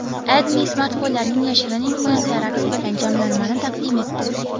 AdMe smartfonlarning yashirin imkoniyatlari aks etgan jamlanmani taqdim etdi .